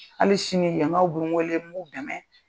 Hali sini yan kaw bu n wele ni b'u dɛmɛ.